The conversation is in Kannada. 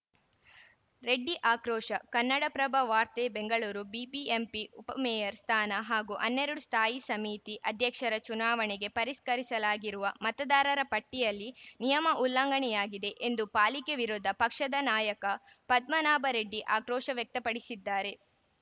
ರೆಡ್ಡಿ ಆಕ್ರೋಶ ಕನ್ನಡಪ್ರಭ ವಾರ್ತೆ ಬೆಂಗಳೂರು ಬಿಬಿಎಂಪಿ ಉಪಮೇಯರ್‌ ಸ್ಥಾನ ಹಾಗೂ ಹನ್ನೆರಡು ಸ್ಥಾಯಿ ಸಮಿತಿ ಅಧ್ಯಕ್ಷರ ಚುನಾವಣೆಗೆ ಪರಿಷ್ಕರಿಸಲಾಗಿರುವ ಮತದಾರರ ಪಟ್ಟಿಯಲ್ಲಿ ನಿಯಮ ಉಲ್ಲಂಘನೆಯಾಗಿದೆ ಎಂದು ಪಾಲಿಕೆ ವಿರೋಧ ಪಕ್ಷದ ನಾಯಕ ಪದ್ಮನಾಭ ರೆಡ್ಡಿ ಆಕ್ರೋಶ ವ್ಯಕ್ತಪಡಿಸಿದ್ದಾರೆ